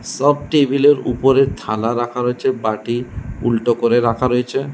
সব টেবিল এর উপরে থালা রাখা রয়েছে বাটি উল্টো করে রাখা রয়েছে।